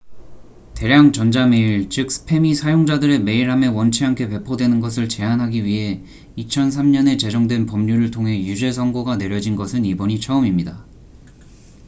대량 전자 메일 즉 스팸이 사용자들의 메일함에 원치 않게 배포되는 것을 제한하기 위해 2003년에 제정된 법률을 통해 유죄 선고가 내려진 것은 이번이 처음입니다